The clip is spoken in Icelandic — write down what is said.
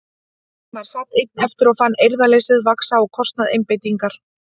Valdimar sat einn eftir og fann eirðarleysið vaxa á kostnað einbeitingar.